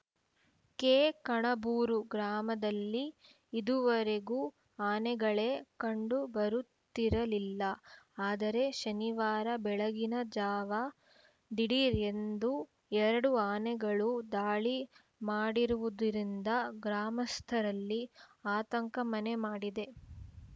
ಕೆಕಣಬೂರು ಗ್ರಾಮದಲ್ಲಿ ಇದುವರೆಗೂ ಆನೆಗಳೇ ಕಂಡು ಬರುತ್ತಿರಲಿಲ್ಲ ಆದರೆ ಶನಿವಾರ ಬೆಳಗಿನ ಜಾವ ದಿಢೀರ್‌ ಎಂದು ಎರಡು ಆನೆಗಳು ದಾಳಿ ಮಾಡಿರುವುದರಿಂದ ಗ್ರಾಮಸ್ಥರಲ್ಲಿ ಆತಂಕ ಮನೆ ಮಾಡಿದೆ